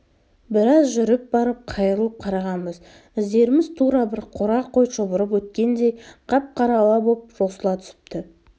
біраз жүріп барып қайырылып қарағанбыз іздеріміз тура бір қора қой шұбырып өткендей қап-қара ала боп жосыла түсіпті